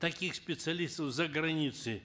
таких специалистов за границей